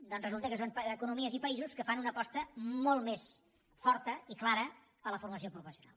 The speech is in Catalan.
doncs resulta que són economies i països que fan una aposta molt més forta i clara a la formació professional